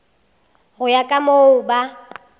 go ya ka moo ba